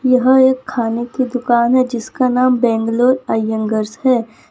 यहां एक खाने की दुकान है जिसका नाम बेंगलुरु इयांगरस है।